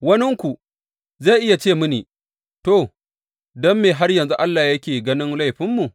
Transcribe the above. Waninku zai iya ce mini, To, don me har yanzu Allah yake ganin laifinmu?